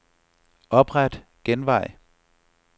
Opret genvej.